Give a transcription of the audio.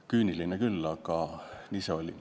Küüniline küll, aga nii see oli.